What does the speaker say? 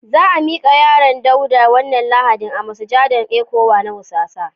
Za a mika yaron Dauda Wanan lahadi a masujadan ecwa na wusasa.